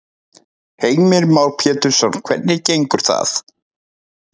Heimir Már Pétursson: Hvernig gengur það?